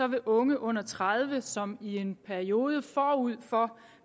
vil unge under tredive år som i en periode forud for